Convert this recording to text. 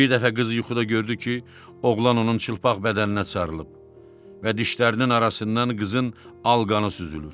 Bir dəfə qızı yuxuda gördü ki, oğlan onun çılpaq bədəninə çağrılıb və dişlərinin arasından qızın alqanı süzülür.